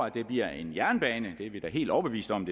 at det bliver en jernbane det er vi da helt overbevist om